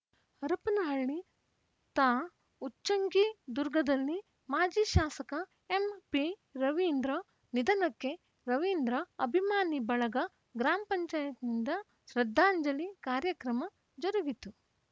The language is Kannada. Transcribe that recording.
ಹರಪನಹಳ್ಳಿ ತಾ ಉಚ್ಚಂಗಿದುರ್ಗದಲ್ಲಿ ಮಾಜಿ ಶಾಸಕ ಎಂಪಿ ರವೀಂದ್ರ ನಿಧನಕ್ಕೆ ರವೀಂದ್ರ ಅಭಿಮಾನಿ ಬಳಗ ಗ್ರಾಂ ಪಂಚಾಯತ್ ನಿಂದ ಶ್ರದ್ಧಾಂಜಲಿ ಕಾರ್ಯಕ್ರಮ ಜರುಗಿತು